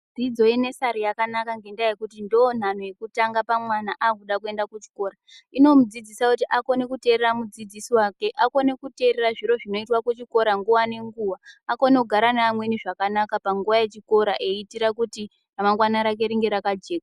Dzidzo yenesari yakanaka ngendaa yekuti ndonhanho yekutanga pamwana akuda kuenda kuchikora. Inomudzidzisa kuti akone kuterera mudzidzisi wake, akone kuterera zviro zvinoitwa kuchikora nguwa ngenguwa, akone kugara neamweni zvakanaka panguwa yechikora eiitira kuti ramangwana rake ringe rakajeka.